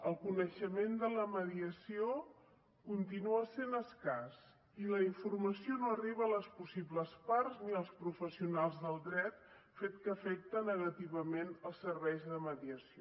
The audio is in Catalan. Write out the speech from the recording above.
el coneixement de la mediació continua sent escàs i la informació no arriba a les possibles parts ni als professionals del dret fet que afecta negativament els serveis de mediació